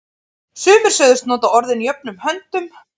Sumir sögðust nota orðin jöfnum höndum.